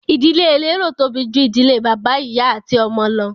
Ìdílé elérò tóbi ju ìdílé bàbá, ìyá ati ọmọ lọ.